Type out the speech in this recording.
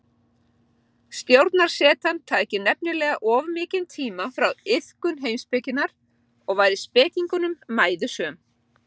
Stjórnarsetan tæki nefnilega of mikinn tíma frá iðkun heimspekinnar og væri spekingnum mæðusöm.